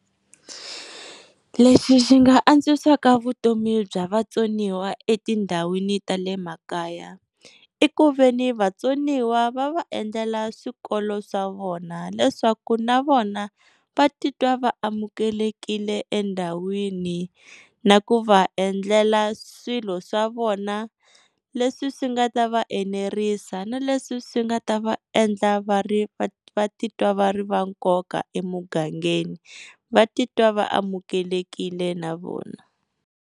Leswi swi nga antswisaka vutomi bya vatsoniwa etindhawini ta le makaya i ku veni vatsoniwa va va endlela swikolo swa vona leswaku na vona va titwa va amukelekile endhawini. Na ku va endlela swilo swa vona leswi swi nga ta va enerisa na leswi swi nga ta va endla va ri va titwa va ri va nkoka emugangeni. Va titwa va amukelekile na vona.